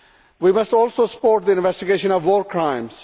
We must also support the investigation of war crimes.